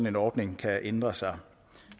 en ordning kan ændre sig